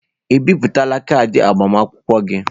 Ị bipụtala kaadị agbamakwụkwọ gị?